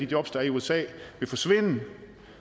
jobs der er i usa vil forsvinde